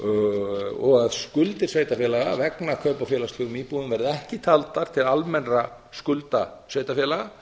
og að skuldir sveitarfélaga vegna kaupa á félagslegum íbúðum verði ekki taldar til almennra skulda sveitarfélaga